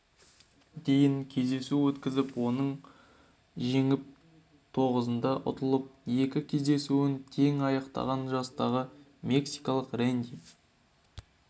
дейін кездесу өткізіп оның онын жеңіп тоғызында ұтылып екі кездесуін тең аяқтаған жастағы мексикалық рэнди